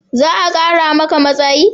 Za a kara maka matsayi?